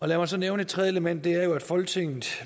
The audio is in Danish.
lad mig så nævne et tredje element det er jo at folketinget